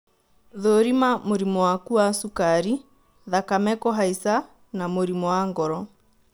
Thũrima mũrimũ waku wa cukari, thakame kũhaica na mũrimũ wa ngoro